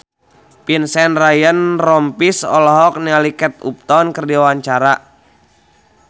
Vincent Ryan Rompies olohok ningali Kate Upton keur diwawancara